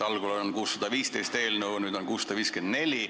Algul on eelnõu 615, nüüd on 654.